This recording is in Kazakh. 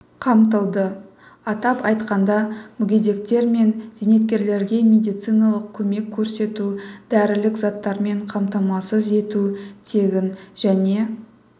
қамтылды атап айтқанда мүгедектер мен зейнеткерлерге медициналық көмек көрсету дәрілік заттармен қамтамасыз ету тегін және